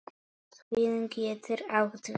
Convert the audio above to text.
Svín getur átt við